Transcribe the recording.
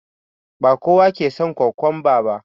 Ba kowa ke son kokwamba ba